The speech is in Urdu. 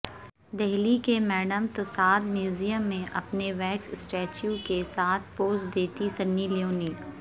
دہلی کے میڈم تساد میوزیم میں اپنے ویکس اسٹیچیو کے ساتھ پوز دیتی سنی لیونی